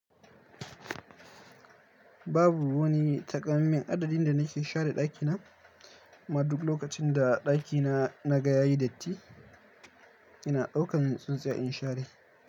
Babu wani takamammen adadin da nake share ɗakina. Amma duk lokacin da ɗakina na ga yayi datti, ina ɗaukan tsintsiya in share.